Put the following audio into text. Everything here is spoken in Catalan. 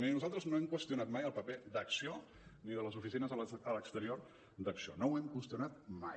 miri nosaltres no hem qüestionat mai el paper d’acció ni de les oficines a l’exterior d’acció no ho hem qüestionat mai